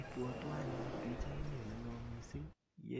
Ibwotwon anyun pichaini Olelo mising ko